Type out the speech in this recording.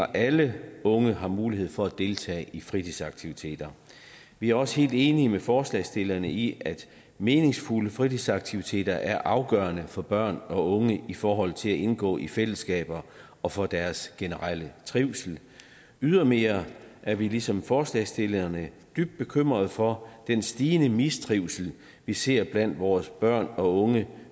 alle unge har mulighed for at deltage i fritidsaktiviteter vi er også helt enige med forslagsstillerne i at meningsfulde fritidsaktiviteter er afgørende for børn og unge i forhold til at indgå i fællesskaber og for deres generelle trivsel ydermere er vi ligesom forslagsstillerne dybt bekymrede for den stigende mistrivsel vi ser blandt vores børn og unge